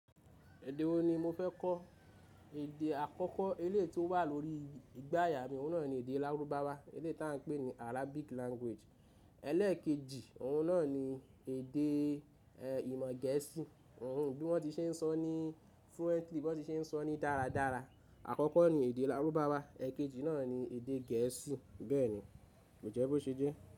Èdè wo ni mo fẹ́ kọ́? Èdè àkọ́kọ́ eléyi tí ó wà lórí igbà aya mi, òun náà ni èdè Lárúbáwá, eléyi tí a ń pè ní Arabic language. Eléè kejì, òun náà ni èdè ìmọ̀ gẹ̀ẹ́sì, òun bí wọ́n ti ṣe ń sọ ní fluently, bí wọ́n ti ṣe ń sọ ní dáradára. Àkọ́kọ́ ni èdè Lárúbáwá, è kejì náà ni èdè gẹ̀ẹ́sì bẹ́ẹ̀ ni. Jẹ́ bó ṣe jẹ́?